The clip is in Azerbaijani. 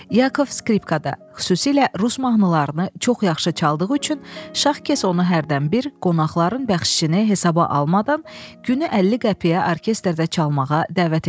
Yakov skripkada xüsusilə rus mahnılarını çox yaxşı çaldığı üçün Şahkes onu hərdənbir qonaqların bəxşişini hesaba almadan günü 50 qəpiyə orkestrdə çalmağa dəvət edirdi.